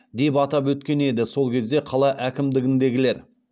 деп атап өткен еді сол кезде қала әкімдігіндегілер